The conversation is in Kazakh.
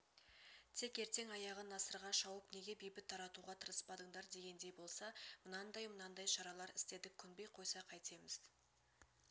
тек ертең аяғы насырға шауып неге бейбіт таратуға тырыспадыңдар дегендей болса мынандай-мынандай шаралар істедік көнбей қойса қайтеміз